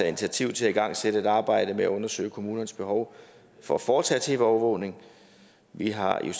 initiativ til at igangsætte et arbejde med at undersøge kommunernes behov for at foretage tv overvågning vi har i